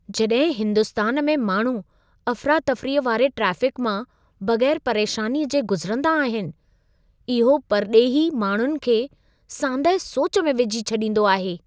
जॾहिं हिंदुस्तान में माण्हू अफ़रातफ़रीअ वारे ट्रेफ़िक मां बग़ैरु परेशानीअ जे गुज़िरंदा आहिनि, इहो परॾेही माण्हुनि खे सांदहि सोच में विझी छॾींदो आहे।